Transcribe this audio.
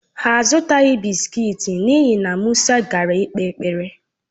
Ha azùtaghi bị́sikití n'ihi na Musa gara ikpe ekpere